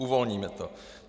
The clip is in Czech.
Uvolníme to.